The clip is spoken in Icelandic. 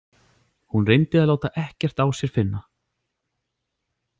Hún reyndi að láta ekkert á sér finna.